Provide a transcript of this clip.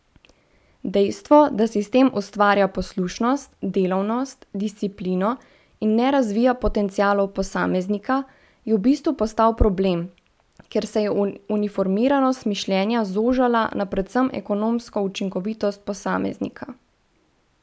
Dejstvo, da sistem ustvarja poslušnost, delovnost, disciplino in ne razvija potencialov posameznika, je v bistvu postal problem, ker se je uniformiranost mišljenja zožala na predvsem ekonomsko učinkovitost posameznika.